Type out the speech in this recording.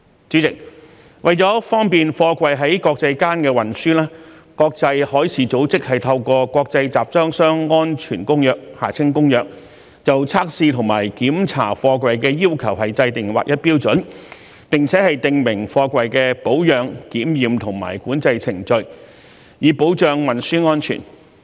主席，為了方便貨櫃在國際間運輸，國際海事組織透過《國際集裝箱安全公約》就測試和檢查貨櫃的要求制訂劃一標準，並且訂明貨櫃的保養、檢驗和管制程序，以保障運輸安全。